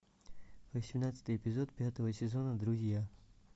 восемнадцатый эпизод пятого сезона друзья